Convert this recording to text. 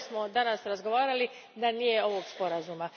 danas razgovarali da nije ovog sporazuma.